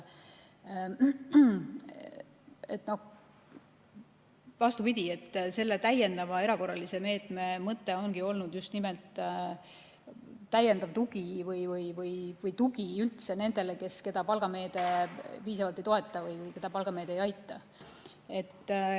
Vastupidi, selle täiendava erakorralise meetme mõte ongi olnud just nimelt pakkuda tuge nendele, keda palgameede piisavalt ei toeta või keda palgameede ei aita.